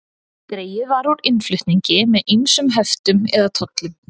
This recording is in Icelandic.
Dregið var úr innflutningi með ýmsum höftum eða tollum.